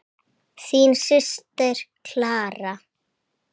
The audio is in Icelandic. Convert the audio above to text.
Þín systir, Clara.